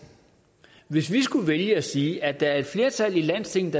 hvis vi skulle vælge at sige at der er et flertal i landstinget